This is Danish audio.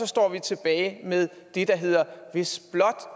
står tilbage med det der hedder hvis blot